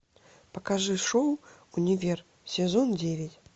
покажи шоу универ сезон девять